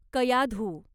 Kayadhu